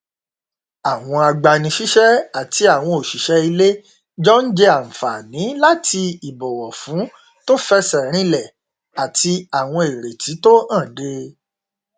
àwọn agbanisíṣẹ àti àwọn òṣìṣẹ ilé jọ n jẹ ànfààní láti ìbọwọfún tó fẹsẹ rinlẹ àti àwọn ìrètí tó hànde